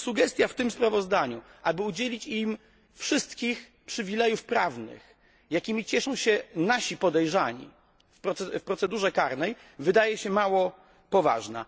Sugestia w tym sprawozdaniu, aby udzielić im wszystkich przywilejów prawnych, jakimi cieszą się nasi podejrzani w procedurze karnej, wydaje się mało poważna.